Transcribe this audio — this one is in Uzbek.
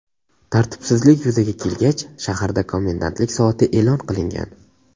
Tartibsizlik yuzaga kelgach, shaharda komendantlik soati e’lon qilingan.